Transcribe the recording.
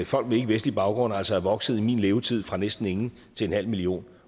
folk med ikkevestlig baggrund altså er vokset i min levetid fra næsten ingen til en halv million